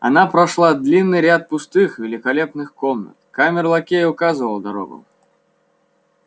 она прошла длинный ряд пустых великолепных комнат камер-лакей указывал дорогу